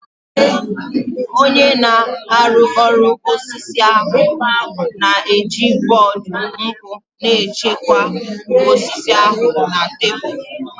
Onye na-arụ ọrụ osisi ahụ na-eji bọọdụ nku na-echekwa osisi ahụ na tebụl